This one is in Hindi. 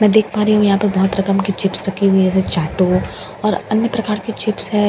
मैं देख पा रही हूं यहां पर बहुत रकम की चिप्स रखी हुई है जैसे चैटो और अन्य प्रकार के चिप्स है।